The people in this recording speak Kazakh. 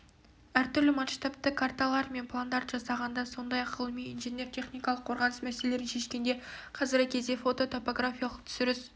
әртүрлі масштабты карталар мен пландарды жасағанда сондай-ақ ғылыми инженер техникалық қорғаныс мәселелерін шешкенде қазіргі кезде фототопографиялық түсіріс